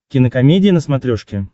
кинокомедия на смотрешке